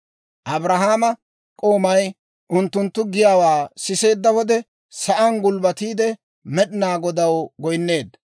Abrahaama k'oomay unttunttu giyaawaa siseedda wode, sa'aan gulbbatiide Med'inaa Godaw goynneedda.